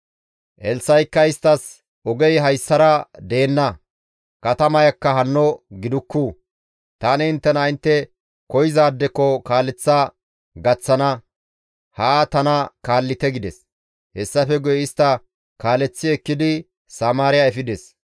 Elssa7ikka isttas, «Ogey hayssara deenna; katamayakka hanno gidikku; tani inttena intte koyzaadeko kaaleththa gaththana; haa tana kaallite» gides. Hessafe guye istta kaaleththi ekkidi Samaariya efides.